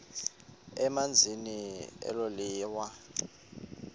emazantsi elo liwa